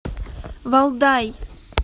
валдай